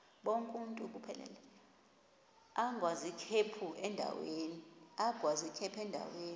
agwaz ikhephu endaweni